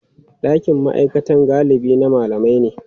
Ɗakin ma'aikata galibi na malamai ne.